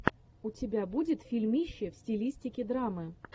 у тебя будет фильмище в стилистике драмы